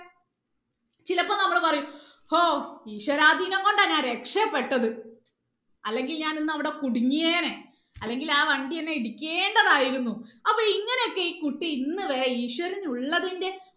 ചിലപ്പോ നമ്മൾ പറയും ഓഹ് ഈശ്വരാതീനം കൊണ്ടാ ഞാൻ രക്ഷപ്പെട്ടത് അല്ലങ്കിൽ ഞാൻ ഇന്ന് അവിടെ കുടിങ്ങിയേനേ അല്ലങ്കിൽ ആ വണ്ടി എന്നെ ഇടിക്കേണ്ടതായിരുന്നു അപ്പൊ ഇങ്ങനെ ഒക്കെ ഈ കുട്ടി ഇന്ന് വരെ ഈശ്വരൻ ഉള്ളതിന്റെ